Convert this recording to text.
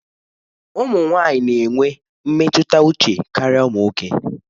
Ụmụ nwanyị na-enwe mmetụta uche karịa ụmụ nwoke.